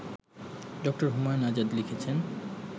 ড. হুমায়ুন আজাদ লিখেছেন